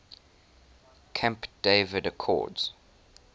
camp david accords